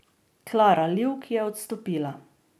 Klara Livk je odstopila.